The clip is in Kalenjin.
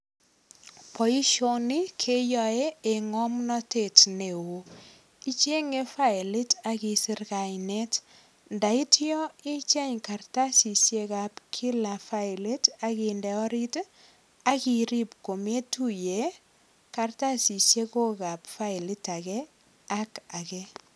Boisioni keyoe eng ngomnatet neo. Ichenge faelit ak isir kainet. Ndaityo icheng kartasisiek ab kila faelit ak inde orit ak irip kometuiye kartasiok ab faelit age ak age.